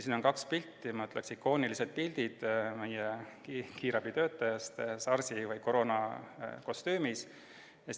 Siin on kaks pilti – ma ütleksin, et need on lausa ikoonilised pildid – meie kiirabitöötajast SARS-i või koroonakostüümis.